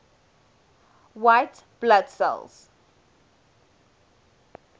white blood cells